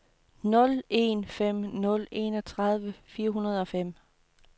nul en fem nul enogtredive fire hundrede og fem